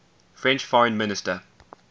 french foreign minister